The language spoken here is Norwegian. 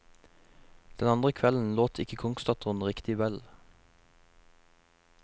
Den andre kvelden låt ikke kongsdatteren riktig vel.